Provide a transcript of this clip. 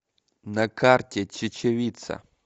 на карте чечевица